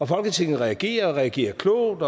folketinget reagerer og reagerer klogt